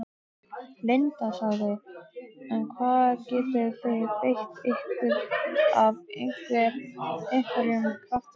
Linda: En hvar getið þið beitt ykkur af einhverjum krafti?